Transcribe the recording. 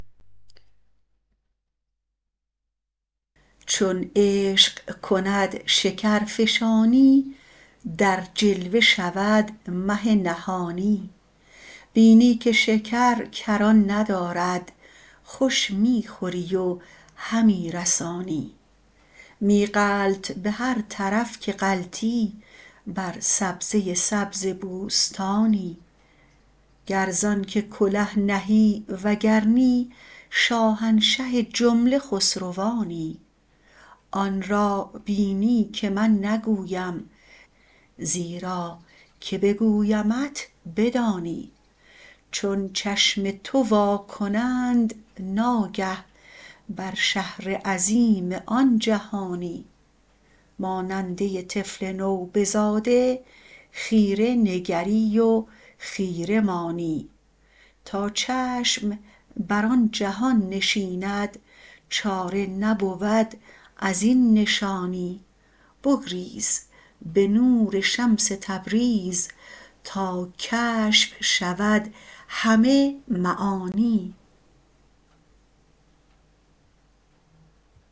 چون عشق کند شکرفشانی در جلوه شود مه نهانی بینی که شکر کران ندارد خوش می خوری و همی رسانی می غلط به هر طرف که غلطی بر سبزه سبز بوستانی گر ز آنک کله نهی وگر نی شاهنشه جمله خسروانی آن را بینی که من نگویم زیرا که بگویمت بدانی چون چشم تو وا کنند ناگه بر شهر عظیم آن جهانی ماننده طفل نوبزاده خیره نگری و خیره مانی تا چشم بر آن جهان نشیند چاره نبود از این نشانی بگریز به نور شمس تبریز تا کشف شود همه معانی